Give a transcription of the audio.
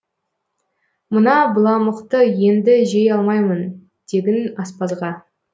мына быламықты енді жей алмаймын дегін аспазға